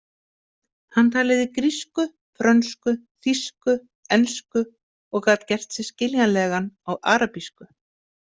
Hann talaði grísku, frönsku, þýsku, ensku og gat gert sig skiljanlegan á arabísku